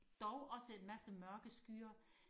dog også en masse mørke skyer